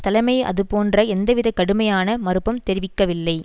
தலைமை அதுபோன்ற எந்தவித கடுமையான மறுப்பும் தெரிவிக்கவில்லை